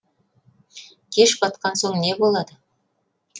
кеш батқан соң не болады